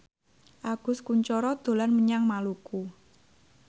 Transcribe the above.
Agus Kuncoro dolan menyang Maluku